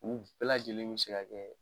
U bɛɛ lajɛlen bɛ se ka kɛ